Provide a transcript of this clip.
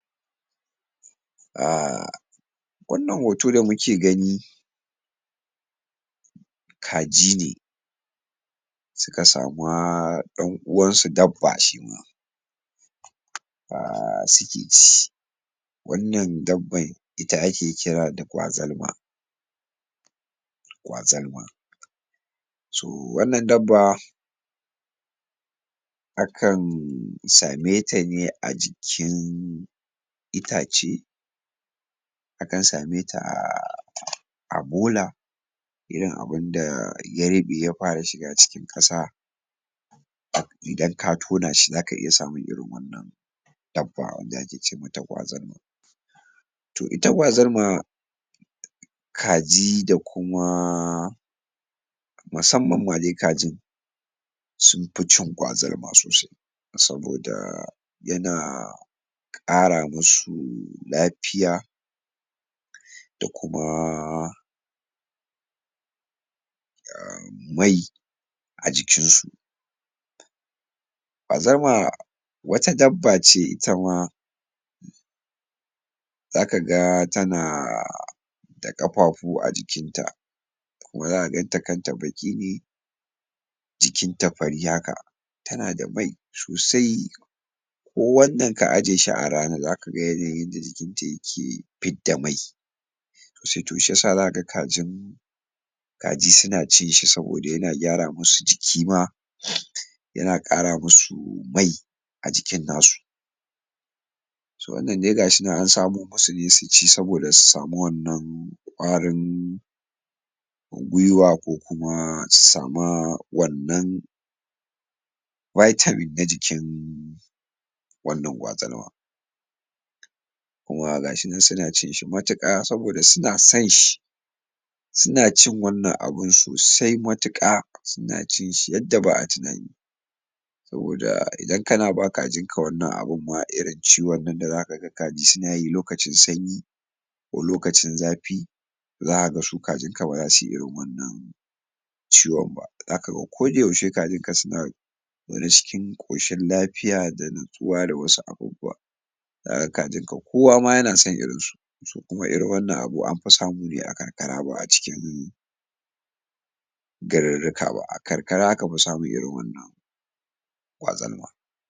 Ah wannan hoto da muke gani kaji ne suka samu dan'uwan su dabba shima ah, suke ci wannan dabban ita ake kira da kwazarma, kwazarma so wannan dabba akan same ta ne a jikin itace akan same ta ah bola irin abinda ya ruɓe ya fara shiga cikin ƙasa. Idan ka tona shi zaka iya samun irin wannan dabba wadda ake ce mata kwazarma to ita Kwazarma, kaji da kuma musamman ma dai kajin sunfi cin kazarma sosai saboda yana kara masu lafiya da kuma [am] mai a jikin su kwazarma wata dabba ce itama zaka ga tana da kafafu a jikin ta kuma zakaga kanta baki ne jikin ta fari haka tana da mai sosai ko wannan ka aje shi a rana zaka ga yadda jikin ta yake fidda mai, to sai shiyasa zaka ga kajin kaji suna cin shi saboda yana gyara masu jiki ma, yana ƙara masu mai a jikin nasu, so wannan dai ga shi nan an samo masu ne su ci saboda su samu wannan ƙwarin gwiwa ko kuma su samu wannan vitamin na jikin wannan kwazarma kuma ga shi nan suna cin shi matuka saboda suna son shi, suna cin wannan abun sosai matuƙa suna cin shi yadda ba'a tunani saboda idan kana ba kajin ka wannan abun ma irin ciwon nan da zakaga kaji suna yi lokacin sanyi ko lokacin zafi zaka ga su kajin ka baza su yi irin wannan abun ba ciwon ba zaka ga koda yaushe kajin ka suna zaune cikin ƙoshin lafiya da natsuwa da wasu abubuwa zaka ga kajin ka kowa ma yana son irin su kuma irin wannan abu amfi samu ne a karkara ba a cikin garurrika ba a karkara aka fi samun irin wannan kwazarma.